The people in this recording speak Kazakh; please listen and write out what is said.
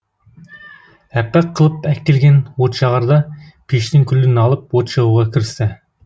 әппақ қылып әктелген отжағарда пештің күлін алып от жағуға кірісті